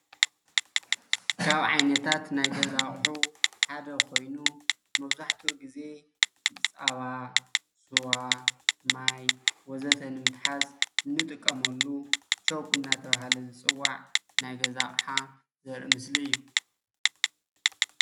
ካብ ዓይነታት ናይ ገዛ አቁሑ ሓደ ኾይኑ መብዛሕቲኡ ግዜ ፃባ ፣ ስዋ ፣ማይ ወዘተ ንምትሓዝ እንጥቀመሉ ቾክ እናተባህለ ዝፀዋዕ ናይ ገዛ አቅሓ ዘርኢ ምስሊ እዩ፡፡